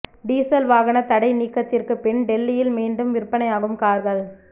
diesel வாகன தடை நீக்கத்திற்கு பின் டெல்லியில் மீண்டும் விற்பனையாகும் கார்கள்